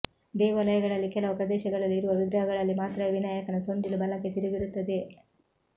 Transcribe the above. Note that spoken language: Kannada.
ದೇವಾಲಯಗಳಲ್ಲಿ ಕೆಲವು ಪ್ರದೇಶಗಳಲ್ಲಿ ಇರುವ ವಿಗ್ರಹಗಳಲ್ಲಿ ಮಾತ್ರವೇ ವಿನಾಯಕನ ಸೊಂಡಿಲು ಬಲಕ್ಕೆ ತಿರುಗಿರುತ್ತದೆ